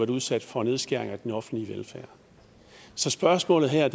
udsat for nedskæringer i den offentlige velfærd så spørgsmålet her